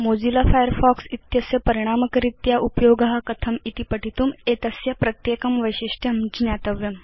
Mozilla Firefox इत्यस्य परिणामक रीत्या उपयोग कथम् इति पठितुम् एतस्य एकैकमपि वैशिष्ट्यं ज्ञातव्यम्